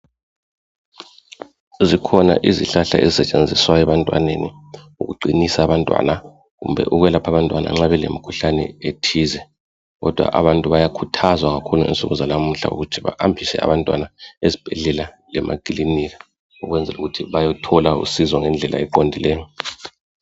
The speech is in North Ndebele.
Zikhona izihlahla ezisenziswa ebantwaneni ukuqinisa abantwana kumbe ukwelapha abantwana nxa belemikhuhlane ethize kodwa abantu bayakhuthazwa ngakhona insuku zanamhla ukuthi bahambise abantwana ezibhedlela lemakilinika ukwenzela ukuthi bayethola usizo ngedlela eqondileyo.